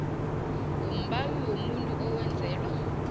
wombawi womuntu owenzelwa